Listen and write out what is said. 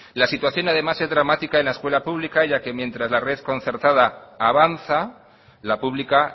la situación además es dramática en la escuela pública ya que mientras la red concertada avanza la pública